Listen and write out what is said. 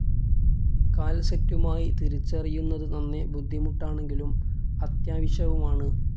കാൽസൈറ്റുമായി തിരിച്ചറിയുന്നതു നന്നേ ബുദ്ധിമുട്ടാണെങ്കിലും അത്യാവശ്യവുമാണ്.